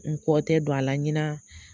N kɔ tɛ don a la ɲina